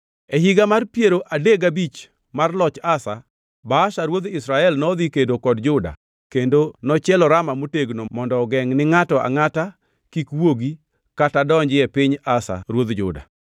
E higa mar piero adek gabich mar loch Asa, Baasha ruodh Israel nodhi kedo kod Juda kendo nochielo Rama motegno mondo ogengʼ ni ngʼato angʼata kik wuogi kata donji e piny Asa ruodh Juda.